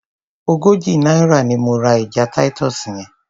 Ogójì náírà ni mo ra ẹja Titus yẹn.